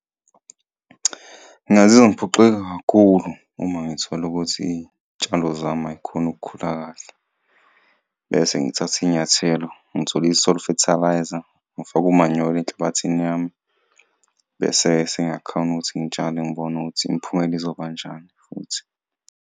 Ngingazizwa ngiphoxeke kakhulu uma ngithola ukuthi itshalo zami ayikhoni ukukhula kahle bese ngithathe inyathelo ngithole i-soil fertiliser, ngifake umanyolo enhlabathini yami bese-ke sengiyakhona ukuthi ngitshale ngibone ukuthi imiphumela izoba njani futhi.